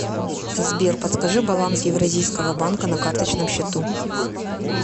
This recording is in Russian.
сбер подскажи баланс евразийского банка на карточном счету